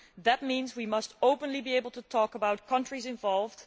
That means we must openly be able to talk about countries involved.